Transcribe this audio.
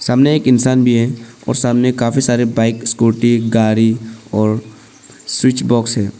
सामने एक इंसान भी है और सामने काफी सारे बाइक स्कूटी गाड़ी और स्विच बॉक्स है।